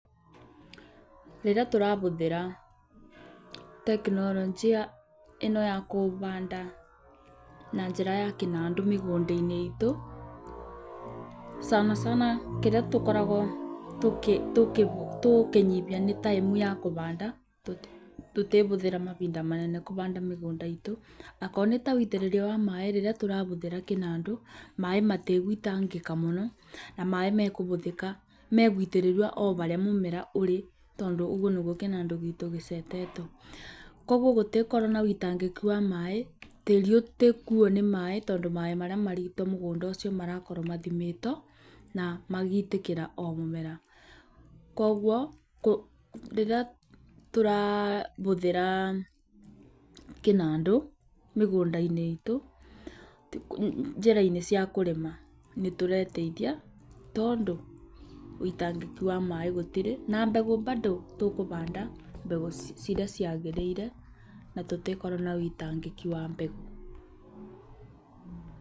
Rĩrĩa tũrabũthĩra tekinoronjĩ ĩno ya kũbaanda na njĩra ya kĩnandũ mĩgũnda-inĩ itu, sana sana kĩrĩa tũkoragwo tũkĩnyĩbia nĩ time ya kũbaanda tũtĩbũthĩra mabinda manene kũbaanda mĩgũnda iitũ akorwo nĩta ũitĩrĩria wa maĩ rĩrĩa tũrabũthĩra kĩnandũ maĩ matĩgũitangĩka mũno, na maĩ megũitĩrĩrua o barĩa mũmera ũrĩ, tondũ ũguo nĩguo kĩnandũ giitũ gĩcetetwo, koguo gũtĩgũkorwo na ũitangĩku wa maĩ, tĩĩrĩ ũtĩkuuo nĩ maĩ, tondũ maĩ marĩa marito mũgũnda ũcio marakoro mathimĩtwo na magitĩkĩra o mũmera, koguo rĩrĩa tũrabũthĩra kĩnandũ mĩgũnda-inĩ iitũ njĩra-inĩ cia kũrĩma nĩtũreteithia, tondũ ũitangĩki wa maĩ gũtĩrĩ na mbegũ bado tũkũbaanda mbegũ cirĩa ciagĩrĩire na tũtĩkorwo na ũitangĩki wa mbegũ.